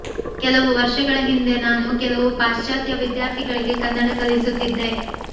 ಕೆಲವು ವರ್ಷಗಳ ಹಿಂದೆ ನಾನು ಕೆಲವು ಪಾಶ್ಚಾತ್ಯ ವಿದ್ಯಾರ್ಥಿಗಳಿಗೆ ಕನ್ನಡ ಕಲಿಸುತ್ತಿದ್ದೆ